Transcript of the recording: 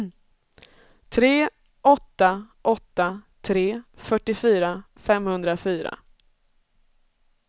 tre åtta åtta tre fyrtiofyra femhundrafyra